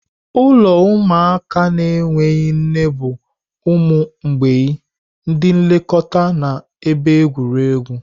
Ụlọ ụmụaka na-enweghị nne bụ ụmụ mgbei, ndị nlekọta na ebe egwuregwu.